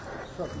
Çox sağ ol.